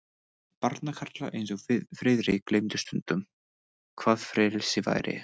Barnakarlar eins og Friðrik gleymdu stundum, hvað frelsi væri.